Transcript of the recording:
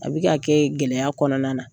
A bɛ ka kɛ gɛlɛya kɔnɔna na.